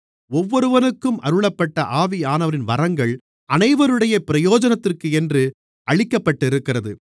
ஒவ்வொருவனுக்கும் அருளப்பட்ட ஆவியானவரின் வரங்கள் அனைவருடைய பிரயோஜனத்திற்கென்று அளிக்கப்பட்டிருக்கிறது